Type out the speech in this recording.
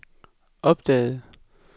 opdagede